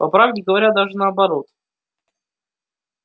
по правде говоря даже наоборот